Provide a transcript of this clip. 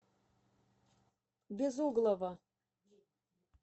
безуглова